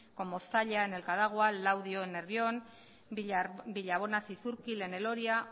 como zalla en el cadagua laudio en nervión villabona zizurkil en el oria